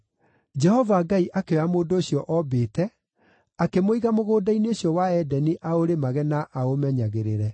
Jehova Ngai akĩoya mũndũ ũcio oombĩte, akĩmũiga mũgũnda-inĩ ũcio wa Edeni aũrĩmage na aũmenyagĩrĩre.